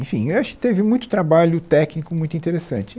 Enfim, acho que teve muito trabalho técnico muito interessante.